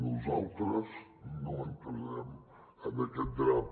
nosaltres no entrarem en aquest drap